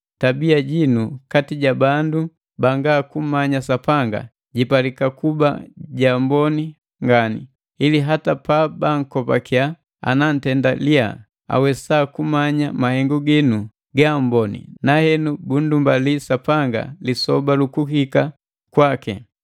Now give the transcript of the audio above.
Tabia jinu kati ja bandu banga kummanya Sapanga jipalika kuba jaamboni ngani, ili hata pabankopakiya ana ntenda liya, awesa kumanya mahengu ginu ga amboni na henu bundumbalia Sapanga lisoba lukuhika kwaki.